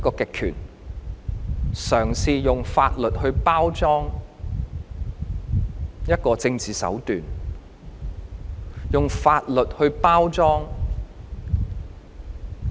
當權者嘗試用法律包裝政治手段、用法律包裝打壓。